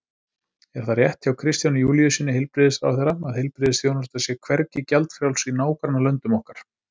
Er það rétt hjá Kristjáni Júlíussyni heilbrigðisráðherra að heilbrigðisþjónusta sé hvergi gjaldfrjáls í nágrannalöndum okkar?